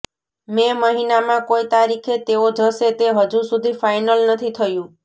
મે મહિનામાં કોઈ તારીખે તેઓ જશે તે હજુ સુધી ફાઈનલ નથી થયું